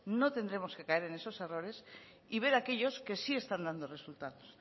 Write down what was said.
no tendremos que caer en esos errores y ver aquellos que sí están dando resultados